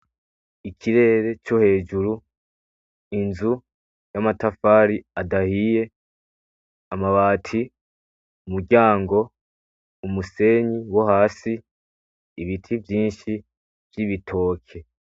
Ikirere co hejuru, inzu y'amatafari adahiye amabati umuryango, umusenyi wo hasi, ibiti vyinshi vy'ibitoke.